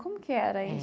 Como que era isso?